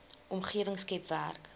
omgewing skep werk